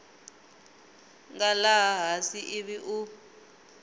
nga laha hansi ivi u